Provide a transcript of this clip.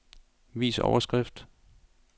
Vis overskrift.